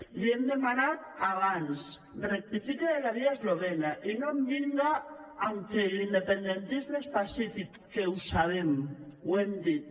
li hem de·manat abans rectifique de la via eslovena i no em vinga amb que l’independentisme és pacífic que ho sabem ho hem dit